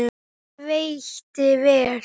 Hann veitti vel